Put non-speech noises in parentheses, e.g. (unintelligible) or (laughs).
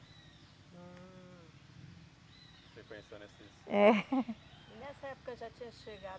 Hum. Você conheceu. (unintelligible) É (laughs) E nessa época já tinha chegado